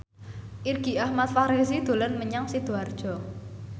Irgi Ahmad Fahrezi dolan menyang Sidoarjo